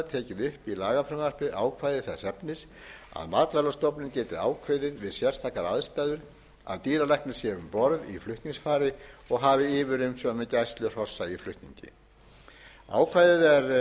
í lagafrumvarpið ákvæði þess efnis að matvælastofnun geti ákveðið við sérstakar aðstæður að dýralæknir sé um borð í flutningsfari og hafi yfirumsjón með gæslu hrossa í flutningi ákvæðið er